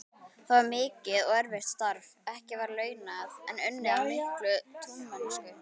Það var mikið og erfitt starf, ekki vel launað, en unnið af mikilli trúmennsku.